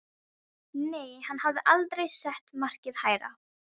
Nei, hann hafði aldrei sett markið hærra.